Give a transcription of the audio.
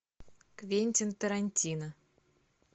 квентин тарантино